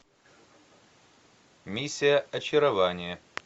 миссия очарование